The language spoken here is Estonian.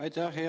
Aitäh!